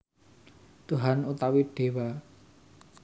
Tuhan utawi Déwa